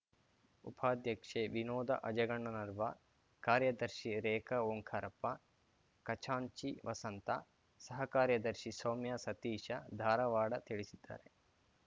ಉಪಾಧ್ಯಕ್ಷೆ ವಿನೋದ ಅಜಗಣ್ಣನರ್ವ ಕಾರ್ಯದರ್ಶಿ ರೇಖಾ ಓಂಕಾರಪ್ಪ ಖಜಾಂಚಿ ವಸಂತ ಸಹ ಕಾರ್ಯದರ್ಶಿ ಸೌಮ್ಯ ಸತೀಶ ಧಾರವಾಡ ತಿಳಿಸಿದ್ದಾರೆ